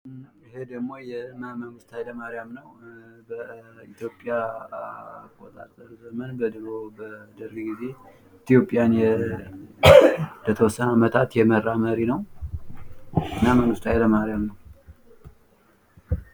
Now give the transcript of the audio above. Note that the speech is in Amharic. አውቶክራሲ በአንድ ግለሰብ ወይም በትንሽ ቡድን ፍጹም ሥልጣን የሚኖርበት የፖለቲካ ሥርዓት ሲሆን የሕዝብ ተሳትፎ ውስን ነው።